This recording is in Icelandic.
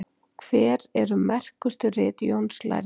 Hver eru merkustu rit Jóns lærða?